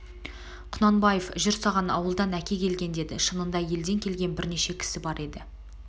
құнанбаев жүр саған ауылдан әке келген деді шынында елден келген бірнеше кісі бар еді